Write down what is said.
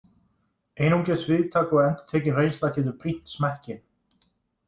Einungis víðtæk og endurtekin reynsla getur brýnt smekkinn.